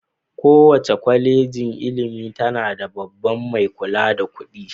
Kowace kwalejin ilimi tana da babban mai kula da kuɗi.